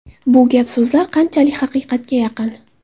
Bu gap-so‘zlar qanchalik haqiqatga yaqin?